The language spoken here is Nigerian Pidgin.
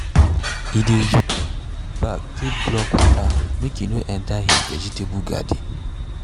e dey use use sandbag take block water make e no enter him vegetable garden.